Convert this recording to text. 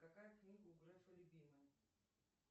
какая книга у грефа любимая